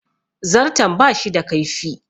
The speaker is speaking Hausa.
Zarton bashi da kaifi